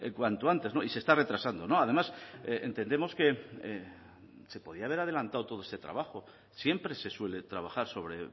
cuanto antes y se está retrasando además entendemos que se podía haber adelantado todo este trabajo siempre se suele trabajar sobre